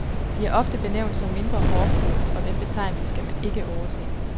De er ofte benævnt som mindre hårdføre , og den betegnelse skal man ikke overse.